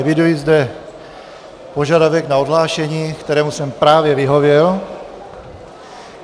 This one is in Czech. Eviduji zde požadavek na odhlášení, kterému jsem právě vyhověl.